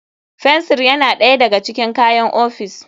Fensir yana ɗaya daga cikin kayan ofis.